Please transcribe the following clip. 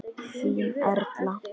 Þín, Erla.